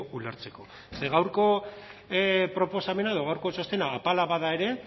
ulertzeko ze gaurko proposamena edo gaurko txostena apala bada ere